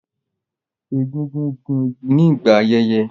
Egungun gún igi nígbà ayẹyẹ